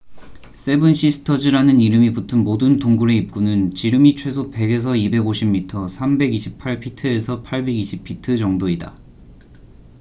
"""세븐 시스터즈""라는 이름이 붙은 모든 동굴의 입구는 지름이 최소 100에서 250미터328피트에서 820피트 정도이다.